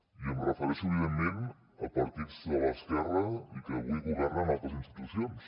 i em refereixo evidentment a partits de l’esquerra i que avui governen a altres institucions